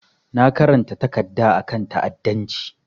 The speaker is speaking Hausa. Na karanta takarda a kan ta'adancci.